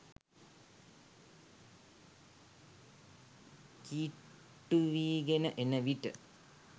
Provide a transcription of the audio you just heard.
කිට්ටුවීගෙන එන විට